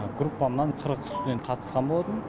группамнан қырық студент қатысқан болатын